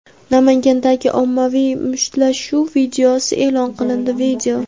Namangandagi ommaviy mushtlashuv videosi e’lon qilindi.